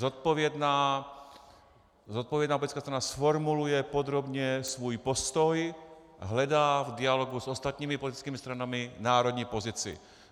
Zodpovědná politická strana zformuluje podrobně svůj postoj a hledá v dialogu s ostatními politickými stranami národní pozici.